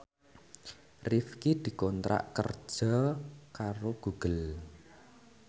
Rifqi dikontrak kerja karo Google